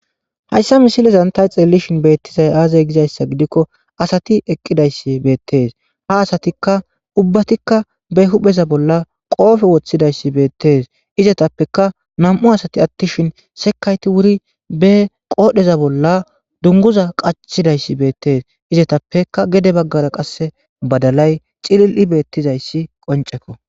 hayssa misilezan tay xelelishin beettizay aazay gizayssa gidikko asati eqqidayssi beettes ha asatikka ubbatikka be hupheza bolla qoofe woththidayssi beettees izatappeka nam7u asati attishin sekayti wuri be qoodheza bolla dunguza qachidayssi beettees izatappeka gede baggara qasse badalay xilil7i beettizayssi qoncekko